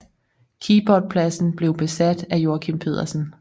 Keyboardpladsen blev besat af Joakim Pedersen